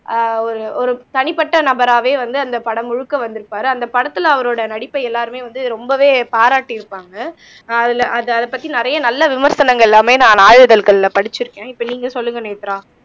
ஆஹ் ஒரு ஒரு தனிப்பட்ட நபராவே வந்து, அந்த படம் முழுக்க வந்திருப்பாரு அந்த படத்துல அவரோட நடிப்பை எல்லாருமே வந்து ரொம்பவே பாராட்டியிருப்பாங்க ஆஹ் அதுல அது அதைப் பத்தி நிறைய நல்ல விமர்சனங்கள் எல்லாமே நான் நாளிதழ்கள்ல படிச்சிருக்கேன் இப்ப நீங்க சொல்லுங்க நேத்ரா